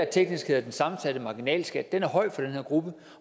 teknisk hedder den sammensatte marginalskat er høj for den her gruppe